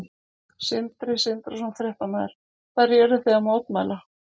Sindri Sindrason, fréttamaður: Hverju eruð þið að mótmæla?